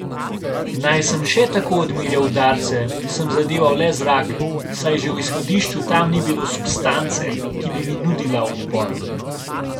Naj sem še tako odmerjal udarce, sem zadeval le zrak, saj že v izhodišču tam ni bilo substance, ki bi mi nudila odpor.